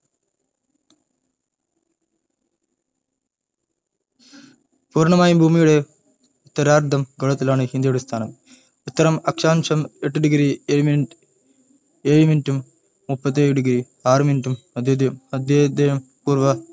പൂർണ്ണമായും ഭൂമിയുടെ ഉത്തരാർദ്ധ ഗോളത്തിലാണ് ഇന്ത്യയുടെ സ്ഥാനം ഉത്തര ആ എട്ട് degree ഏഴ് minute ഉം മുപ്പത്തി ആറ് degree ആറ് minute ഉം മദ്ധ്യേത മദ്ധ്യേയും പൂർവ്വ